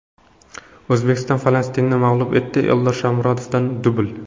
O‘zbekiston Falastinni mag‘lub etdi, Eldor Shomurodovdan dubl .